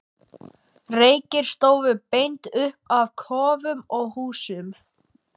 Reykir stóðu beint upp af kofum og húsum.